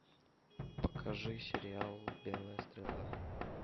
покажи сериал белая стрела